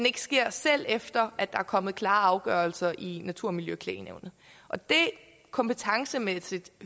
ikke sker selv efter at der er kommet klare afgørelser i natur og miljøklagenævnet kompetencemæssigt